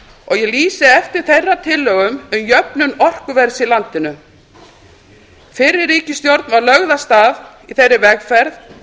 og ég lýsi eftir þeirra tillögum um jöfnun orkuverðs í landinu fyrri ríkisstjórn var lögð af stað í þeirri vegferð að